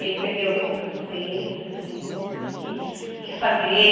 Ele perdeu a ponta dos dedos, assim, teve que refazer.